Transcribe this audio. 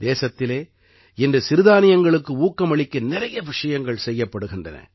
தேசத்திலே இன்று சிறுதானியங்களுக்கு ஊக்கம் அளிக்க நிறைய விஷயங்கள் செய்யப்படுகின்றன